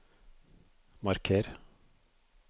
marker